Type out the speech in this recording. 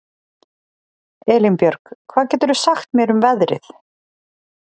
Elínbjörg, hvað geturðu sagt mér um veðrið?